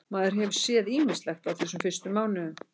Maður hefur séð ýmislegt á þessum fyrstu mánuðum.